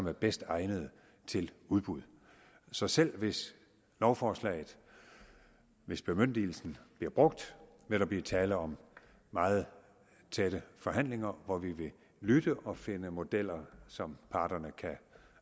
er bedst egnede til udbud så selv hvis lovforslaget hvis bemyndigelsen bliver brugt vil der blive tale om meget tætte forhandlinger hvor vi vil lytte og finde modeller som parterne kan